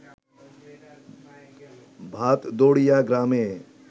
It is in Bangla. ভাতদড়িয়া গ্রামে